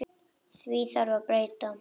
Því þarf að breyta.